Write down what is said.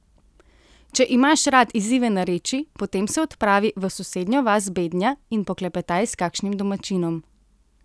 Če imaš rad izzive narečij, potem se odpravi v sosednjo vas Bednja in poklepetaj s kakšnim domačinom.